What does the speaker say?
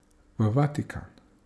V Vatikan.